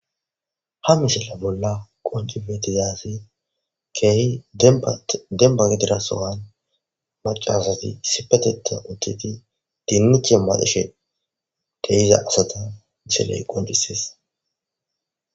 Ha misila bolla qoncifetizaasi keehi demba gidirasowan macaasati sipateta utteti dinnuce maadishe deiza asata misiley qoncises